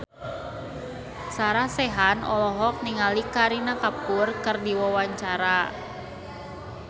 Sarah Sechan olohok ningali Kareena Kapoor keur diwawancara